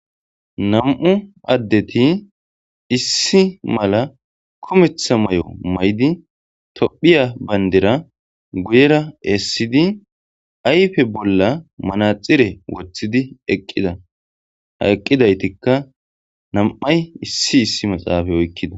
Namuu adeti is mala kumeta mao ma'id, Tophiya bandira guyera isidi ayfe bola manatsire wotid aqda. Ha iqragatka nam'ay isyi isyi matsafe oyqda.